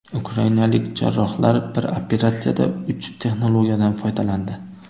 Ukrainalik jarrohlar bir operatsiyada uch texnologiyadan foydalandi.